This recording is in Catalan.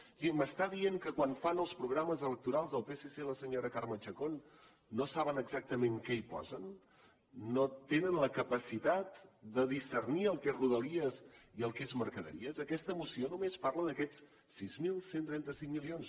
o sigui m’està dient que quan fan els programes electorals el psc i la senyora carme chacón no saben exactament què hi posen no tenen la capacitat de discernir el que és rodalies i el que és mercaderies aquesta moció només parla d’aquests sis mil cent i trenta cinc milions